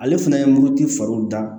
Ale fana ye muruti fariw da